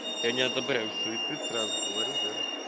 я не одобряю суицид сразу говорю да